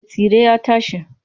Me tsire ya tashi.